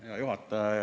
Hea juhataja!